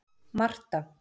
Marta